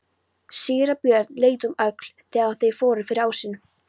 Síra Björn leit um öxl þegar þeir fóru fyrir ásinn.